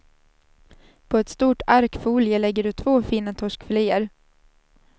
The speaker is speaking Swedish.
På ett stort ark folie lägger du två fina torskfiléer.